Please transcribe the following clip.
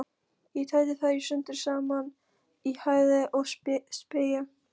Ég tæti þær sundur og saman í háði og spéi.